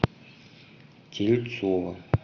тельцова